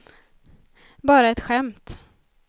bara ett skämt